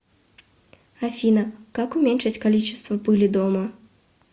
афина как уменьшить количество пыли дома